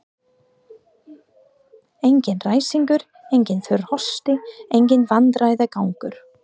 Engar ræskingar, enginn þurr hósti, enginn vandræðagangur.